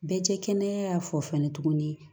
Bɛɛ cɛ kɛnɛya fɔ fɛnɛ tuguni